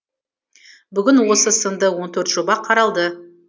бүгін осы сынды он төрт жоба қаралды